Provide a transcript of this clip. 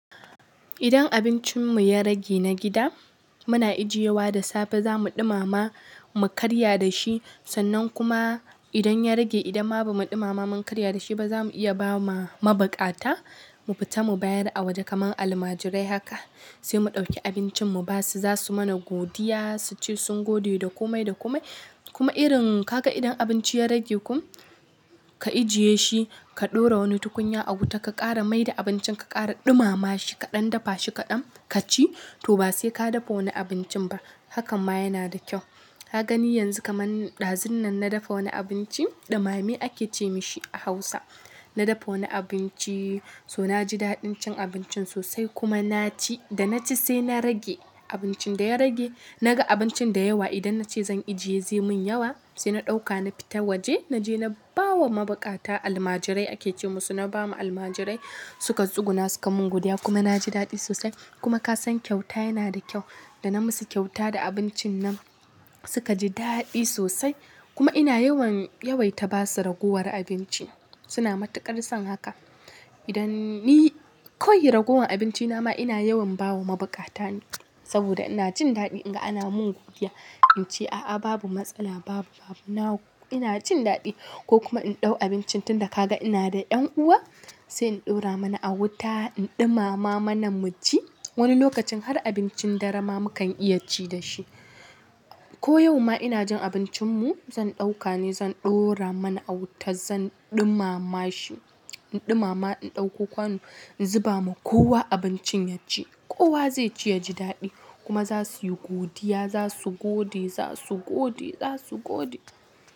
Idan abincinmu ya rage na gida, muna ijiye wa da safe zamu ɗumama mu karya da shi. Sannan kuma idan ya rage idan ma ba mu ɗumama mun karya da shi ba, za mu iya ba ma mabukata. Mu fita mu bayar a waje kaman almajirai haka sai mu ɗauki abincin mu ba su. Za su mana godiya, su ce sun gode da komai da komai. Kuma irin kaga idan abinci ya rage kum ka ajiye shi, ka ɗora wani tukunya a wuta ka ƙara mai da abincin ka ƙara ɗumama shi kaɗan dafa shi kaɗan ka ci, to ba sai ka dafa wani abincin ba. Hakan ma yana da kyau. Ka gani yanzu kaman ɗazun nan na dafa wani abinci, ɗumame ake ce mashi a Hausa. Na dafa wani abinci so na ji daɗin cin abincin sosai kuma na ci. Da na ci sai na rage abincin da ya rage. Na ga abincin da yawa idan na ce zan ajiye zai mun yawa. Sai na ɗauka na fita waje na je na bawa mabukata almajirai ake ce musu. Na ba ma almajirai suka tsuguna suka mun godiya kuma na ji daɗi sosai. Kuma ka san kyauta yana da kyau. Da na musu kyauta da abincin nan suka ji daɗi sosai. Kuma ina yawan yawaita ba su ragowar abinci. Suna matuƙar son haka. Idan ni kawai ragowar abinci na ma ina yawan ba wa mabukata ne saboda ina jin daɗi in ga ana mun godiya. In ce a'a babu matsala babu babu. Ina jin daɗi ko kuma in ɗau abincin tun da ka ga ina da ƴan uwa sai in ɗora mana a wuta, in ɗumama manan mu ci. Wani lokacin har abincin dare ma mukan iya ci da shi. Ko yau ma ina jin abincinmu zan ɗauka ne zan ɗora mana a wuta zan ɗumama shi. In ɗumama in ɗauko kwanu in zuba ma kowa abincin ya ci. Kowa zai ci ya ji daɗi kuma za su yi godiya. Za su gode, za su gode, za su gode.